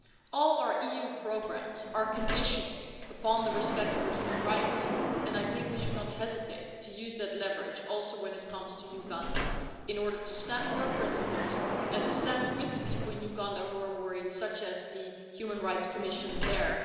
All our EU programmes are conditional upon respect for human rights and I think we should not hesitate to use that leverage, including in respect of Uganda, in order to stand for our principles and to the stand with the people in Uganda who are worried, as is the Human Rights Commission there.